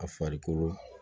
A farikolo